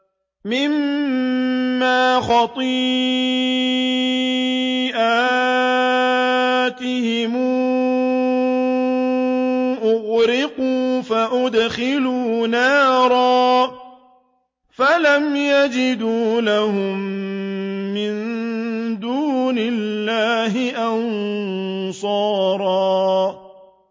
مِّمَّا خَطِيئَاتِهِمْ أُغْرِقُوا فَأُدْخِلُوا نَارًا فَلَمْ يَجِدُوا لَهُم مِّن دُونِ اللَّهِ أَنصَارًا